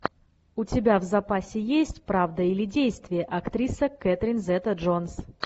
у тебя в запасе есть правда или действие актриса кетрин зета джонс